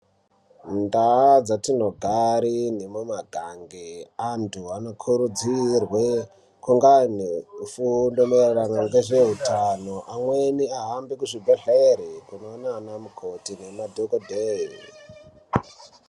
Mundaa dzatinogare nemumagange antu anokurudzirwe kungani eifunda maererano nezveutano amweni ahambe kuzvibhedhlera kunoona ana mukoti nemadhokodheya.